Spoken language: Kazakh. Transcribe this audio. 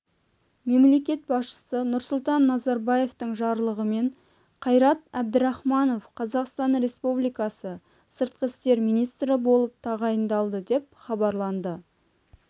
мемлекет басшысы нұрсұлтан назарбаевтың жарлығымен қайрат әбдірахманов қазақстан республикасы сыртқы істер министрі болып тағайындалды деп хабарланды